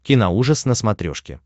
киноужас на смотрешке